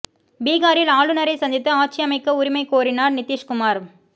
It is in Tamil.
பீகாரில் ஆளுநரை சந்தித்து ஆட்சி அமைக்க உரிமை கோரினார் நிதிஷ்குமார்